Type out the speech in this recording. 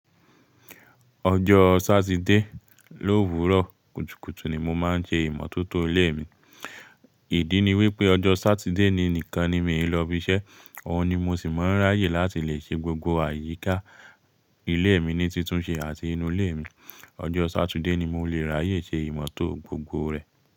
Ọjọ́ Sátidé lówúrọ̀ kùtùkùtù ni mo máa ń ṣẹ ìmọ́tótó ilé mi. Ìdí ni wípé ọjọ́ Sátidé ni nìkan ni mi ò lọ ibiṣẹ́, òun ni mo ṣì máa ń ráyè láti lè ṣe gbogbo àyíká ilé mi ní títúnṣe àti inú ilé mi. Ọjọ́ Sátidé ni mo lè ráyè ṣe ìmọ́tó gbogbo rẹ.